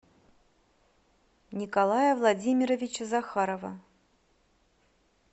николая владимировича захарова